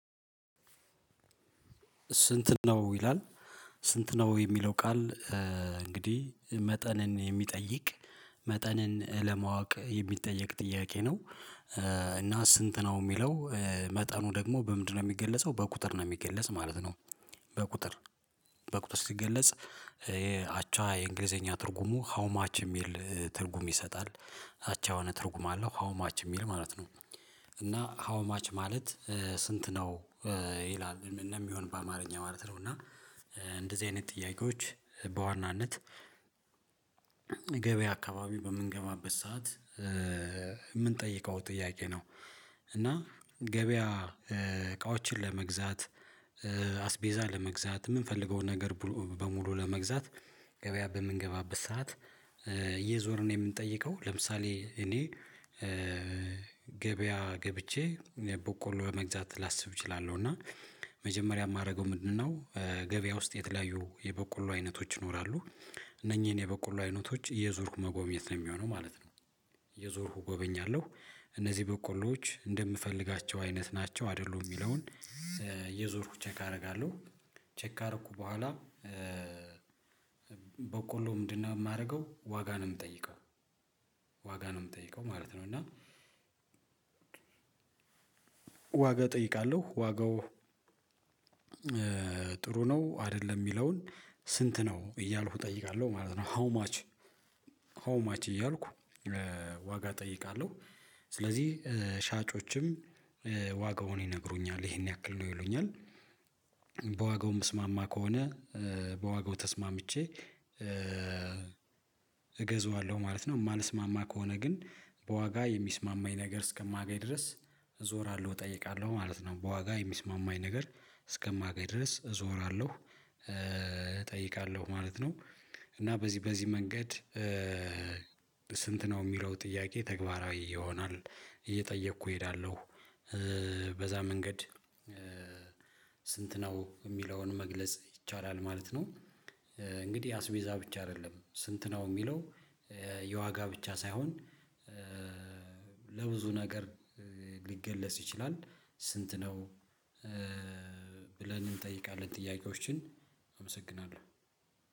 ስንት ነው ይላል ስንት ነው የሚለው ቃል እንግዲህ መጠንን የሚጠይቅ መጠንን ለማወቅ የሚጠየቅ ጥያቄ ነው እና ስንት ነው የሚለው መጠኑ ደግሞ በምንድነው የሚገለጸው በቁጥር ነው የሚገለጽ ማለት ነው በቁጥር በቁጥር ሲገለጽ ይሄ አቻ የእንግሊዘኛ ትርጉሙ ሀውማች የሚል ትርጉም ይሰጣል አቻ የሆነ ትርጉም አለው ሀው ማች የሚል ማለት ነው እና ሀው ማች ማለት ስንት ነው ይላል እንደሚሆን በአማርኛ ማለት ነው እና እንደዚህ አይነት ጥያቄዎች በዋናነት ገበያ አከባቢ በምንገባበት ሰዓት የምንጠይቀው ጥያቄ ነው እና ገበያ እቃዎችን ለመግዛት አስቤዛ ለመግዛት የምንፈልገውን ነገር በሙሉ ለመግዛት ገበያ በምንገባበት ሰዓት እየዞርን የምንጠይቀው ለምሳሌ እኔ ገበያ ገብቼ በቆሎ ለመግዛት ላስብ እችላለሁ እና መጀመሪያ የማደርገው ምንድነው ገበያ ውስጥ የተለያዩ የበቆሎ አይነቶች ይኖራሉ እነኚህን የበቆሎ አይነቶች እየዞርኩ መጎብኘት ነው የሚሆነው ማለት ነው እየዞርኩ እጎበኛለሁ እነዚህ በቆሎዎች እንደምፈልጋቸው አይነት ናቸው አይደሉም የሚለውን እየዞርኩ ቼክ አደርጋለሁ ቼክ ካረኩ በኋላ በቆሎ ምንድነው የማደርገው ዋጋ ነው የምጠይቀው ዋጋ ነው የምጠይቀው ማለት ነው እና ዋጋ እጠይቃለሁ ዋጋው ጥሩ ነው አይደለም የሚለውን ስንት ነው እያልኩ እጠይቃለሁ ማለት ነው ሃው ማች ሃው ማች እያልኩ ዋጋ እጠይቃለሁ ስለዚህ ሻጮችም ዋጋውን ይነግሩኛል ይሄን ያክል ነው ይሉኛል በዋጋው ምስማማ ከሆነ በዋጋው ተስማምቼ እገዛዋለሁ ማለት ነው የማልስማማ ከሆነ ግን በዋጋ የሚስማማኝ ነገር እስከማገኝ ድረስ እዞራለሁ እጠይቃለሁ ማለት ነው በዋጋ የሚስማማኝ ነገር እስከማገኝ ድረስ እዞራለሁ እጠይቃለሁ ማለት ነው እና በዚህ በዚህ መንገድ ስንት ነው የሚለው ጥያቄ ተግባራዊ ይሆናል እየጠየኩ እሄዳለሁ በዛ መንገድ ስንት ነው የሚለውን መግለጽ ይቻላል ማለት ነው እንግዲህ አስቤዛ ብቻ አይደለም ስንት ነው የሚለው የዋጋ ብቻ ሳይሆን ብዙ ነገር ሊገለጽ ይችላል ስንት ነው እንጠይቃለን ጥያቄዎችን አመሰግናለሁ።